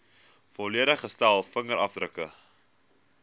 volledige stel vingerafdrukke